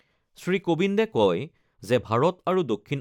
শ্ৰীকোবিন্দে কয় যে, ভাৰত আৰু দক্ষিণ